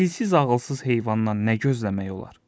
Dilsiz ağılsız heyvandan nə gözləmək olar?